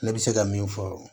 Ne bɛ se ka min fɔ